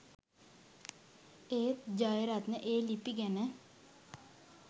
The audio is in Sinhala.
ඒත් ජයරත්න ඒ ලිපි ගැන